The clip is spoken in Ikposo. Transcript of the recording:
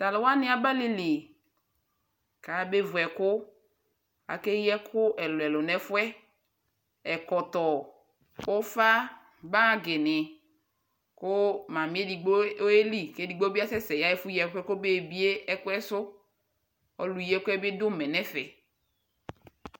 talʋ wani aba alili kʋ aya bɛ vʋ ɛkʋ, akɛ yii ɛkʋ ɛlʋɛlʋ nʋ ɛƒʋɛ, ɛkɔtɔ, ʋƒa, bagi ni kʋ mamiɛ ɛdigbɔ bi ɔyɛ li.kʋ ɛdigbɔ bi asɛsɛ yaa ɛƒʋ yii ɛkʋɛ kʋ ɔbɛbiɛ ɛkʋɛ sʋ, ɔlʋ yii ɛkʋɛ bi dʋ ʋmɛ nʋ ɛƒɛ.